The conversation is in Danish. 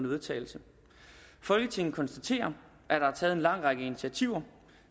vedtagelse folketinget konstaterer at der er taget en lang række initiativer